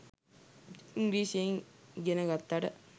ඉංග්‍රීසියෙන් ඉගෙන ගත්තට